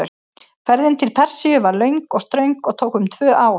Ferðin til Persíu var löng og ströng og tók um tvö ár.